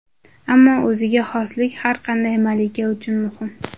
Ammo o‘ziga xoslik har qanday malika uchun muhim.